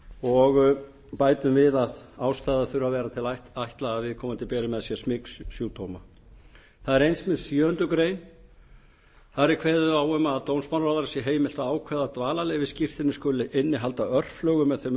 og bætum við að ástæða þurfi að vera til að ætla að viðkomandi beri með sér smitsjúkdóma það er eins með sjöundu greinar það er kveðið á um að dómsmálaráðherra sé heimilt að ákveða að dvalarleyfisskírteini skuli innihalda örflögu með þeim